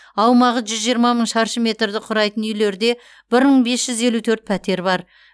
аумағы жүз жиырма мың шаршы метрді құрайтын үйлерде бір мың бес жүз елу төрт пәтер бар